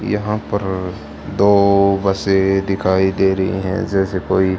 यहां पर दो बसें दिखाई दे रही हैं जैसे कोई--